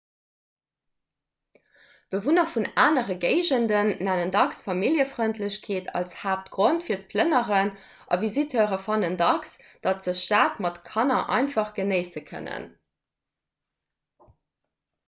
bewunner vun anere géigenden nennen dacks familljefrëndlechkeet als haaptgrond fir d'plënneren a visiteure fannen dacks datt se d'stad mat kanner einfach genéisse kënnen